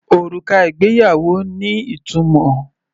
Òrùka ìgbéyàwó ní ìtumọ̀.